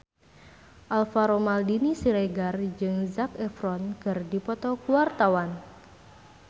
Alvaro Maldini Siregar jeung Zac Efron keur dipoto ku wartawan